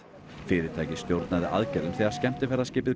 fyrirtækið stjórnaði aðgerðum þegar skemmtiferðaskipið